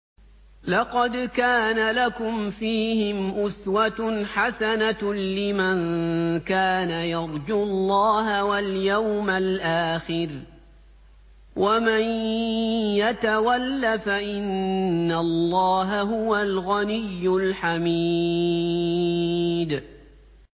لَقَدْ كَانَ لَكُمْ فِيهِمْ أُسْوَةٌ حَسَنَةٌ لِّمَن كَانَ يَرْجُو اللَّهَ وَالْيَوْمَ الْآخِرَ ۚ وَمَن يَتَوَلَّ فَإِنَّ اللَّهَ هُوَ الْغَنِيُّ الْحَمِيدُ